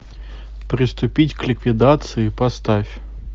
приступить к ликвидации поставь